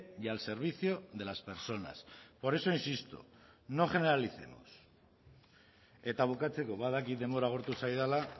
y al servicio de las personas por eso insisto no generalicemos eta bukatzeko badakit denbora agortu zaidala